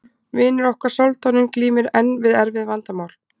vinur okkar soldáninn glímir enn við erfið vandamál